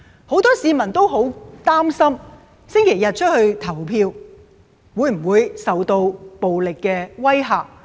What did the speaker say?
很多市民擔心周日出門投票會否受到暴力的威嚇？